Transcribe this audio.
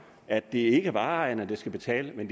at det ikke er vareejerne der skal betale men